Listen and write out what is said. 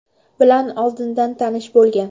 bilan oldindan tanish bo‘lgan.